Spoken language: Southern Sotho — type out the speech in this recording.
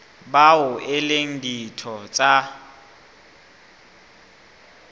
bao e leng ditho tsa